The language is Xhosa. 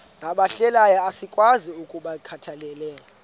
nabahlehliyo asikwazi ukungazikhathaieli